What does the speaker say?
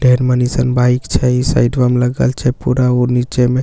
tyre मनिशन bike छै सइड़वा मे लागल छै पूरा ऊ निचे मे--